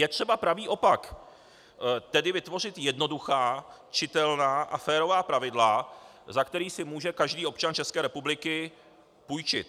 Je třeba pravý opak, tedy vytvořit jednoduchá, čitelná a férová pravidla, za kterých si může každý občan České republiky půjčit.